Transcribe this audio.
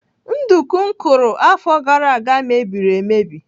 Nduku m kụrụ afọ gara aga mebiri emebi.